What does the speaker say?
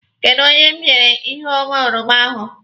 Kedụ oge m nyere Iheoma oroma ahụ?